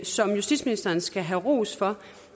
som justitsministeren skal have ros for